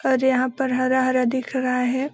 और यहां पर हरा-हरा दिख रहा है।